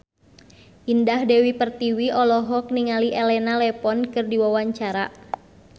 Indah Dewi Pertiwi olohok ningali Elena Levon keur diwawancara